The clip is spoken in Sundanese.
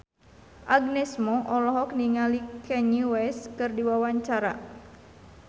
Agnes Mo olohok ningali Kanye West keur diwawancara